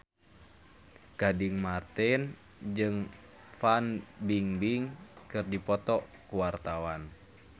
Gading Marten jeung Fan Bingbing keur dipoto ku wartawan